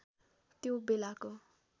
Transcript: त्यो बेलाको